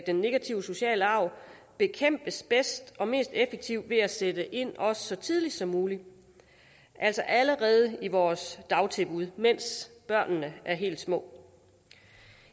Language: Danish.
den negative sociale arv bekæmpes bedst og mest effektivt ved at sætte ind så tidligt som muligt altså allerede i vores dagtilbud mens børnene er helt små